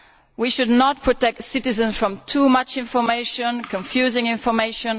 We should not protect' citizens from too much information or confusing information.